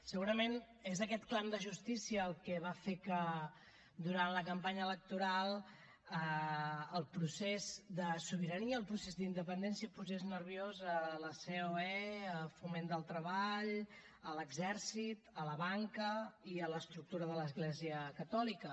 segurament és aquest clam de justícia el que va fer que durant la campanya electoral el procés de sobirania el procés d’independència posés nerviosos a la ceoe a foment del treball a l’exèrcit a la banca i a l’estructura de l’església catòlica